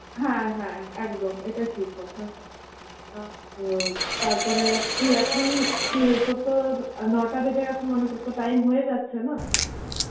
হ্যাঁ হ্যাঁ একদম এটা ঠিক কথা. তারপরে তুই এখন কি রে তোর তো নটা বেজে গেছে মানে তোর তো time হয়ে যাচ্ছে না.